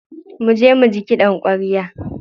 Muje muji kiɗan ƙwarya.